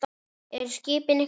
Eru skipin ykkar sokkin?